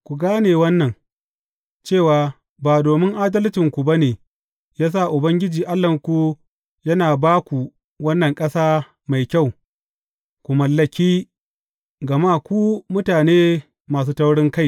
Ku gane wannan, cewa ba domin adalcinku ba ne ya sa Ubangiji Allahnku yana ba ku wannan ƙasa mai kyau, ku mallaki, gama ku mutane masu taurinkai ne.